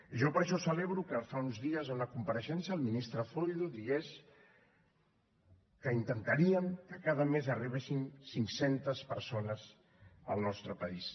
jo per això celebro que fa uns dies en una compareixença el ministre zoido digués que intentaríem que cada mes arribessin cinc centes persones al nostre país